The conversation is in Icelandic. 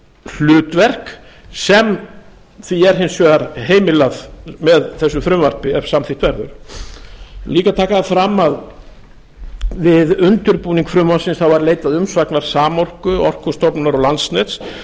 hlutverk sem því er hins vegar heimilað með þessu frumvarpi ef samþykkt verður ég vil líka taka það fram að við undirbúning frumvarpsins þá var leitað umsagnar samorku orkustofnunar og landsnets og það